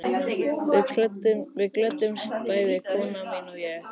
Við glöddumst bæði, kona mín og ég